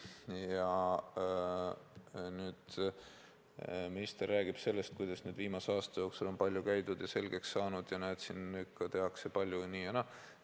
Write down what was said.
Ja nüüd minister räägib sellest, kuidas viimase aasta jooksul on palju kohal käidud ja selgeks saadud ja et nüüd siin tehakse palju, nii ja naa.